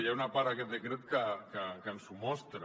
hi ha una part a aquest decret que ens ho mostra